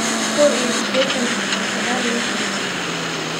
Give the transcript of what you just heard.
kow iyo sideetan xal oo sagaal loo qaybiyo